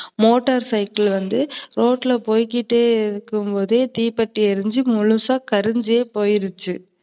Motor cycle வந்து ரோட்டுல போயிகிட்டே இருக்கும்போது தீப்பற்றி எரிஞ்சு முழுசா கரிஞ்ஜே போயிருச்சு.